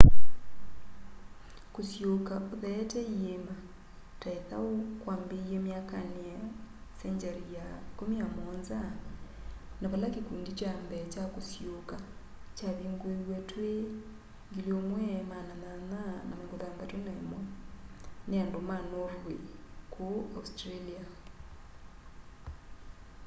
kusiuuka utheete iĩma ta ithau kwambĩĩe myakanĩ ya 17th century na vala kĩkũndi kya mbee kya kusiuuka kyavingũiwe twi1861 nĩ andũ ma norway ku australia